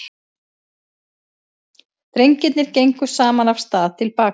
Drengirnir gengu saman af stað til baka.